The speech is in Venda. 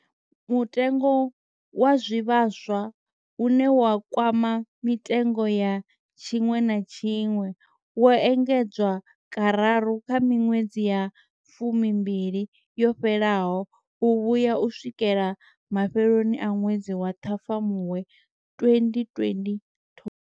Mutengo wa zwivhaswa, une wa kwama mitengo ya tshiṅwe na tshiṅwe, wo engedzwa kararu kha miṅwedzi ya fumimbili yo fhelaho u vhuya u swikela mafheloni a ṅwedzi wa Ṱhafamuwe 2022.